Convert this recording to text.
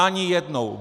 Ani jednou!